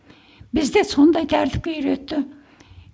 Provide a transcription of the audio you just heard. бізде сондай тәртіпке үйретті